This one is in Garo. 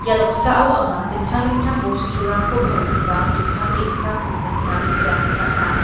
ia noksao anga dingtang dingtang bosturangko palgipa dokan ge·sako nikna gita man·a.